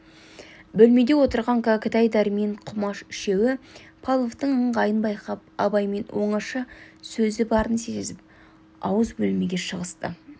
бөлмеде отырған кәкітай дәрмен құмаш үшеуі павловтың ыңғайын байқап абаймен оңаша сөзі барын сезіп ауыз бөлмеге шығысты